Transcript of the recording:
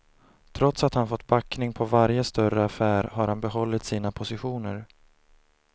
Trots att han fått backning på varje större affär har han behållit sina positioner.